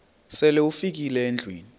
sele ufikile endlwini